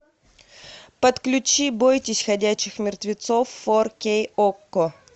подключи бойтесь ходячих мертвецов фор кей окко